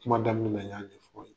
Kuma daminɛ na n y'a ɲɛfɔ aw ye.